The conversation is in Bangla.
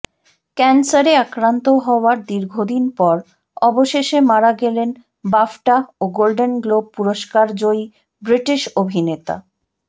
ক্যান্সারে আক্রান্ত হওয়ার দীর্ঘদিন পর অবশেষে মারা গেলেন বাফটা ও গোল্ডেন গ্লোব পুরস্কারজয়ী ব্রিটিশ অভিনেতা